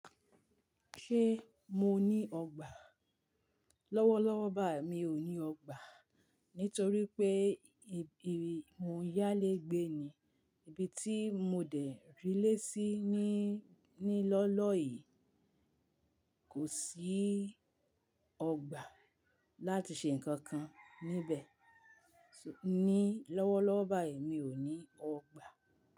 Ṣé mo ní ọgbà? Lọ́wọ́lọ́wọ́ bái mi ò ní ọgbà nítorí pé ibi mo ń yálé gbé ni, ibi tí mo dé rí lé sí ní, ní lọ́ọ́lọ́ yìí kò sí ọgbà láti ṣe nǹkan kan níbẹ̀. Ní lọ́wọ́lọ́wọ́ báyìí mí ò ní ọgbà.